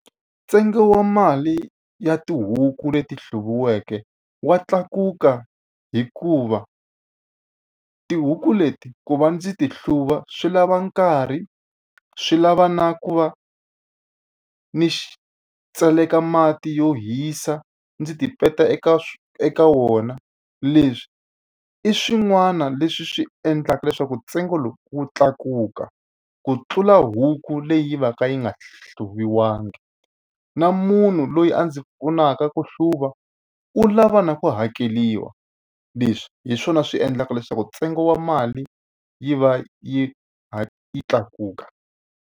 Ntsengo wa mali ya tihuku leti hluviweke wa tlakuka hikuva, tihuku leti ku va ndzi ti hluva swi lava nkarhi, swi lava na ku va ni tseleka mati yo hisa ndzi tipeta eka eka wona. Leswi i swin'wana leswi swi endlaka leswaku ntsengo lowu wu tlakuka ku tlula huku leyi va ka yi nga hluviwangi. Na munhu loyi a ndzi pfunaka ku hluva u lava na ku hakeriwa. Leswi hi swona swi endlaka leswaku ntsengo wa mali yi va yi kha yi tlakuka.